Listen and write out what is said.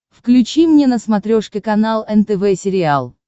включи мне на смотрешке канал нтв сериал